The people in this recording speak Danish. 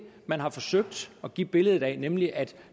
man har forsøgt at give et billede af nemlig at